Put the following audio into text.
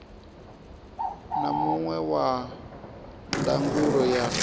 na muṅwe wa ndangulo ya